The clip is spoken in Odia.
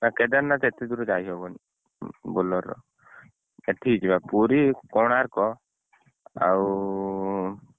ନା କେଦାରନାଥ ଏତେ ଦୂର ଯାଇହବନି Bolero ର ଏଠିକି ଯିବା ପୁରୀ କୋଣାର୍କ ଆଉ,